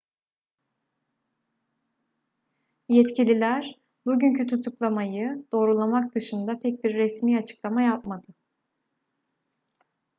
yetkililer bugünkü tutuklamayı doğrulamak dışında pek bir resmi açıklama yapmadı